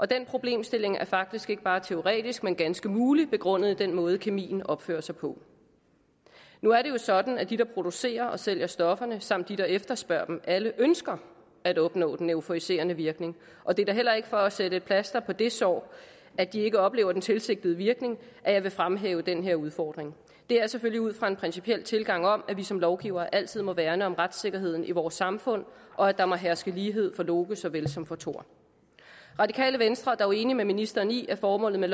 den problemstilling er faktisk ikke bare teoretisk men ganske mulig begrundet i den måde kemien opfører sig på nu er det jo sådan at de der producerer og sælger stofferne samt de der efterspørger dem alle ønsker at opnå den euforiserende virkning og det er da heller ikke for at sætte et plaster på det sår at de ikke oplever den tilsigtede virkning at jeg vil fremhæve den her udfordring det er selvfølgelig ud fra en principiel tilgang til at vi som lovgivere altid må værne om retssikkerheden i vores samfund og at der må herske lighed for loke såvel som for thor radikale venstre er dog enig med ministeren i at formålet med